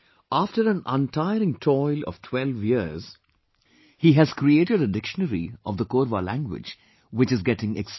After an untiring toil of 12 years, he has created a dictionary of the Korwa language which is getting extinct